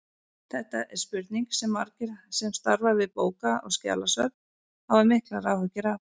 Þetta er spurning sem margir sem starfa við bóka- og skjalasöfn hafa miklar áhyggjur af.